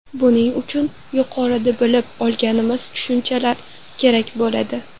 Buning uchun yuqorida bilib olganimiz tushunchalar kerak bo‘ladi.